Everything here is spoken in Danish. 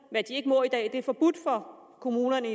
kommunerne